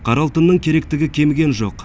қара алтынның керектігі кеміген жоқ